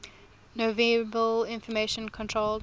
nonverbal information controlled